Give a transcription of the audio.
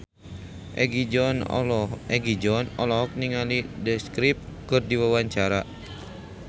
Egi John olohok ningali The Script keur diwawancara